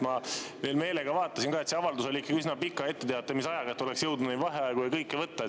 Ma veel meelega vaatasin, et see avaldus oli ikka üsna pika etteteatamisajaga, nii et oleks jõudnud neid vaheaegu ja kõike võtta.